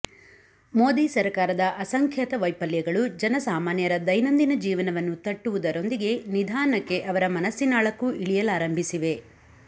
ಮೋದಿ ಸರಕಾರದ ಅಸಂಖ್ಯಾತ ವೈಫಲ್ಯಗಳು ಜನಸಾಮಾನ್ಯರ ದೈನಂದಿನ ಜೀವನವನ್ನು ತಟ್ಟುವುದರೊಂದಿಗೆ ನಿಧಾನಕ್ಕೆ ಅವರ ಮನಸ್ಸಿನಾಳಕ್ಕೂ ಇಳಿಯಲಾರಂಭಿಸಿವೆ